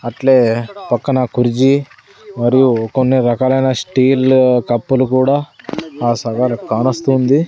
అట్లే పక్కన కురిజి మరియు కొన్ని రకాలైన స్టీల్ కప్పులు కూడా ఆ కానస్తోంది.